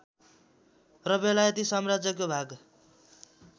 र बेलायती साम्राज्यको भाग